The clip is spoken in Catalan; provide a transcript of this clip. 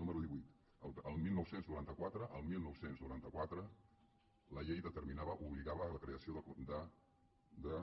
número divuit el dinou noranta quatre el dinou noranta quatre la llei determinava obligava la creació de